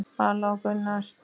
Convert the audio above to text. Vala og Gunnar.